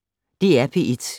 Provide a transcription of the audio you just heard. DR P1